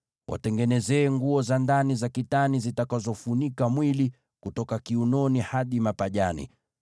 “Watengenezee nguo za ndani za kitani zitakazofunika mwili, kutoka kiunoni hadi mapajani.